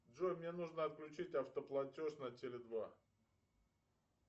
джой мне нужно отключить автоплатеж на теле два